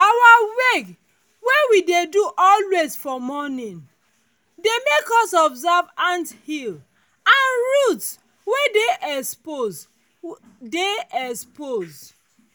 our wake wey we dey always do for morning dey make us observe ant hill and roots wey dey expose dey expose